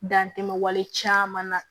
Dan tɛ wale caman na